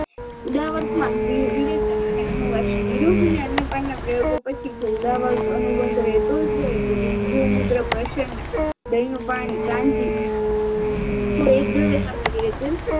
ઉદવારમાં વી વિરેચન અને અનુવાસન નિરોહન અને અન્ય પાનના પ્રયોગો પછી જો ઉદાવર અનુબદ્ધ રહેતો જ હોય તો ગૌમૂત્ર પસનના દહીનું પાણી કાંજી સાથે લેવું જોઈએ